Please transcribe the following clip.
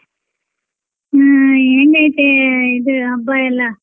ಹ್ಮ್ ಹೆಂಗೈತೆ ಇದ್ ಹಬ್ಬ ಎಲ್ಲ?